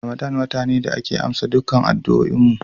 Ramadana wata ne da ake amsa dukkan addu'oin mu.